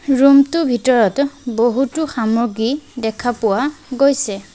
ৰুমটো ভিতৰত বহুতো সামগ্ৰী দেখা পোৱা গৈছে।